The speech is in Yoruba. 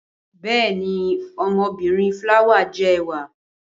Bẹẹni, ọmọbirin flower jẹ ẹwà!